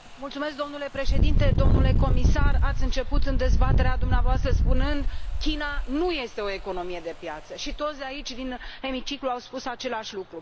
Domnule președinte, domnule comisar, ați început în dezbaterea dumneavoastră spunând China nu este o economie de piață și toți de aici, din Hemiciclu, au spus același lucru.